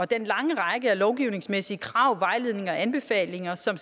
den lange række af lovgivningsmæssige krav vejledninger og anbefalinger som